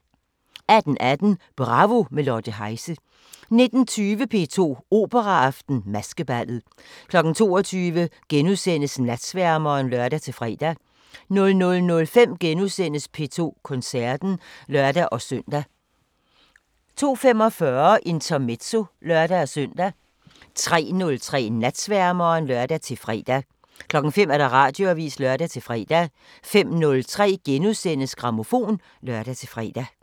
18:18: Bravo – med Lotte Heise 19:20: P2 Operaaften: Maskeballet 22:00: Natsværmeren *(lør-fre) 00:05: P2 Koncerten *(lør-søn) 02:45: Intermezzo (lør-søn) 03:03: Natsværmeren (lør-fre) 05:00: Radioavisen (lør-fre) 05:03: Grammofon *(lør-fre)